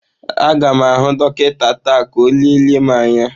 Aga m ahụ dọkịta taa ka ọ lelee m anya.